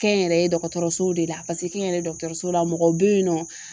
Kɛnyɛrɛye dɔgɔtɔrɔsow de la paseke kɛnyɛrɛye dɔgɔtɔrɔso la mɔgɔw be yen nɔ